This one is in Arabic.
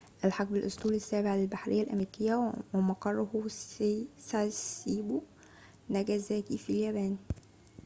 أُلحق بالأسطول السابع للبحرية الأمريكية ومقره في ساسيبو ناجازاكي في اليابان